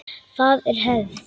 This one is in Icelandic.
Það er hefð!